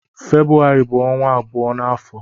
Febrụwarị bu onwa abụọ n'afọ.